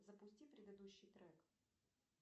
запусти предыдущий трек